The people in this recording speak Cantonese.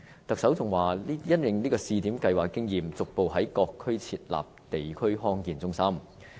特首更表示，會因應試點計劃的經驗，逐步在各區設立地區康健中心。